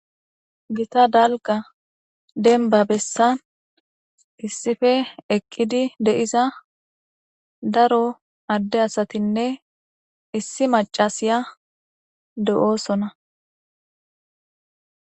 Gita dalga demba bessan issipe eqqidi de'iza daro adde asatinne issi macasiya de'oosona.